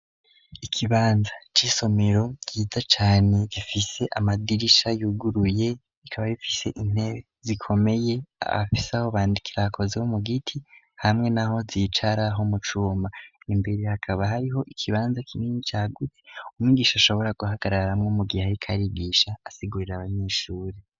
Ikibanza c'isomero ciza cane gifise amadirisha yuguruye ikaba bifise intebe zikomeye abafise aho bandikira hakozwe mu giti hamwe n'aho zicara ho mu cuma imbere hakaba hariho ikibanza kinini cagutse umwigisha ashobora guhagararamwo mu gihe ariko arigisha asigurira .